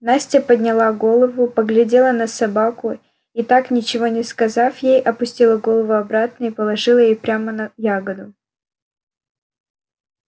настя подняла было голову поглядела на собаку и так ничего не сказав ей опустила голову обратно и положила её прямо на ягоду